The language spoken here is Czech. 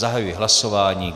Zahajuji hlasování.